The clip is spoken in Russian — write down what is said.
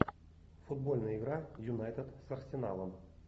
футбольная игра юнайтед с арсеналом